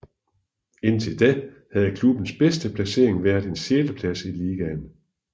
Indtil da havde klubbens bedste placering været en sjetteplads i ligaen